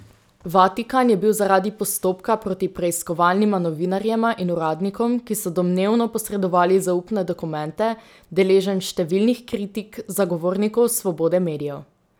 Vatikan je bil zaradi postopka proti preiskovalnima novinarjema in uradnikom, ki so domnevno posredovali zaupne dokumente, deležen številnih kritik zagovornikov svobode medijev.